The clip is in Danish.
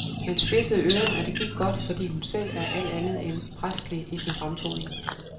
Man spidsede øren, og det gik godt, fordi hun selv er alt andet end præstelig i sin fremtoning.